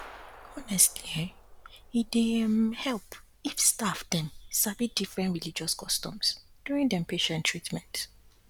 honestly[um]e dy um help if staff dem sabi different religious customs during dem patient treatment